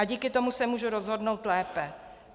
A díky tomu se můžu rozhodnout lépe.